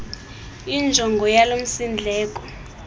injongo yalo msindleko